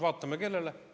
Vaatame, kellele.